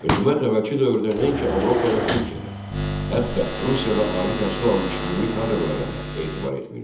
Hökumət əvvəlki dövrdə nəinki Avropa və Türkiyədə, hətta Rusiyada ali təhsil almış milli kadrlara da etibar etmirdi.